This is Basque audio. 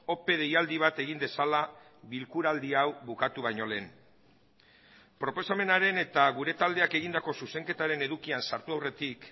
ope deialdi bat egin dezala bilkuraldi hau bukatu baino lehen proposamenaren eta gure taldeak egindako zuzenketaren edukian sartu aurretik